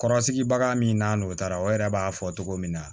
Kɔrɔsigibaga min n'o taara o yɛrɛ b'a fɔ togo min na